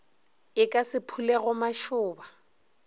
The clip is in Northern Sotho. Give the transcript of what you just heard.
e ka se phulego mašoba